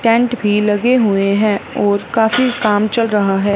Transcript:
Tent भी लगे हुए हैं और काफी काम चल रहा है।